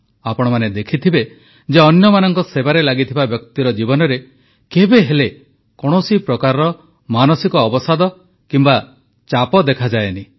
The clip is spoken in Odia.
ଆପଣମାନେ ଦେଖିଥିବେ ଯେ ଅନ୍ୟମାନଙ୍କ ସେବାରେ ଉତ୍ସର୍ଗୀକୃତ ବ୍ୟକ୍ତିର ଜୀବନରେ କେବେହେଲେ କୌଣସି ପ୍ରକାର ମାନସିକ ଅବସାଦ କିମ୍ବା ଚାପ ଦେଖାଯାଏ ନାହିଁ